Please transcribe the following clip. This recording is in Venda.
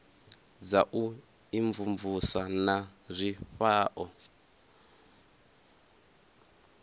dza u imvumvusa na zwifhao